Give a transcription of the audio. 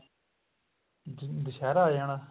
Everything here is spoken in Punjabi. ਜਿਵੇਂ ਦੁਸ਼ਹਿਰਾ ਆ ਜਾਣਾ